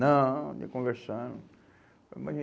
Não, não estou conversando.